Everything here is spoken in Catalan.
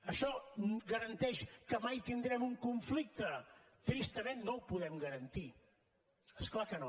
això garanteix que mai tindrem un conflicte tristament no ho podem garantir és clar que no